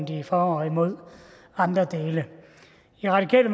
de er for og imod andre dele i radikale